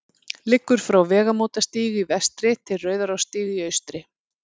liggur frá vegamótastíg í vestri til rauðarárstígs í austri